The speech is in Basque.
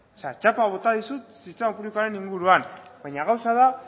txapa bota dizut sistema publikoaren inguruan baina gauza da